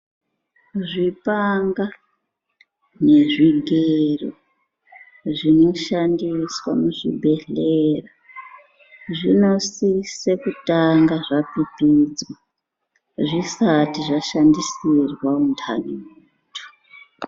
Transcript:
Zvipanga nezvigero zvinoshandiswa muzvibhedhlera ,zvinosise kutanga zvapipidzwa zvisati zvashandisirwa untani.